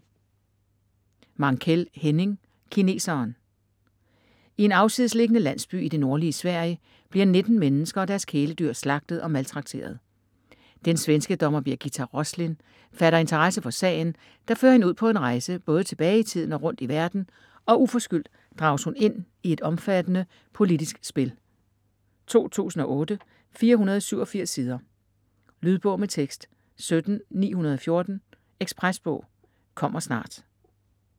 Mankell, Henning: Kineseren I en afsidesliggende landsby i det nordlige Sverige bliver 19 mennesker og deres kæledyr slagtet og maltrakteret. Den svenske dommer Birgitta Roslin fatter interesse for sagen der fører hende ud på en rejse både tilbage i tiden og rundt i verden, og uforskyldt drages hun ind i et omfattende politisk spil. 2008, 487 sider. Lydbog med tekst 17914 Ekspresbog - kommer snart